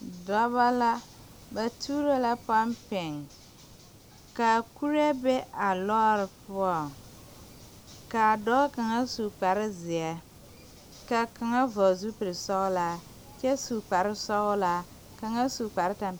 Dɔbɔ la ba tuuro la pɔmpeŋ kaa kuree be a lɔɔre poɔŋ kaa dɔɔ kaŋa su kparezeɛ kaa kaŋa vɔgle zupilsɔglaa kyɛ su kparesɔglaa kaŋa su kpare tampɛloŋ.